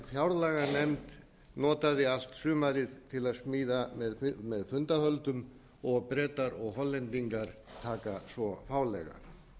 fjárlaganefnd notaði allt sumarið til að smíða með fundahöldum og bretar og hollendingar taka svo fálega